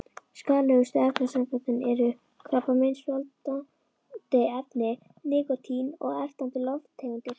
Skaðlegustu efnasamböndin eru: krabbameinsvaldandi efni, nikótín og ertandi lofttegundir.